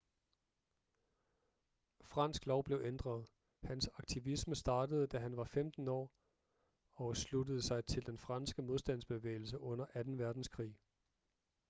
fransk lov blev ændret hans aktivisme startede da han var 15 år og sluttede sig til den franske modstandsbevægelse under 2. verdenskrig